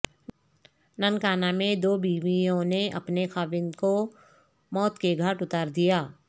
ننکانہ میں دوبیویوں نے اپنے خاوند کو موت کے گھاٹ اتار دیا